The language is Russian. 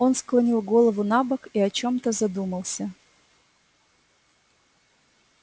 он склонил голову набок и о чём-то задумался